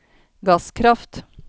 gasskraft